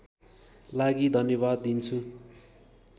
लागि धन्यवाद दिन्छु